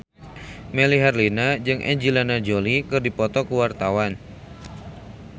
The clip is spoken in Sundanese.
Melly Herlina jeung Angelina Jolie keur dipoto ku wartawan